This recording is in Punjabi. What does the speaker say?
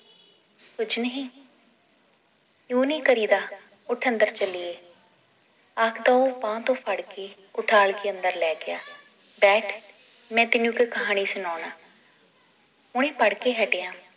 ਕੁਝ ਨਹੀ ਯੂੰ ਨਈ ਕਰੀਦਾ ਉੱਠ ਅੰਦਰ ਚਲੀਏ ਆਖਦਾ ਉਹ ਬਾਂਹ ਤੋਂ ਫੜ ਕੇ ਉਠਾਲ ਕੇ ਅੰਦਰ ਲੈ ਗਿਆ ਬੈਠ ਮੈ ਤੈਨੂੰ ਇੱਕ ਕਹਾਣੀ ਸੁਣਾਉਣਾ ਹੁਣੇ ਪੜ੍ਹ ਕੇ ਹਟਿਆਂ